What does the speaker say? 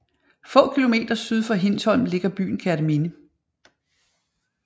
Få kilometer syd for Hindsholm ligger byen Kerteminde